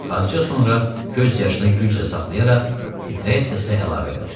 Azca sonra göz yaşını güclə saxlayaraq titrək səslə əlavə elədi: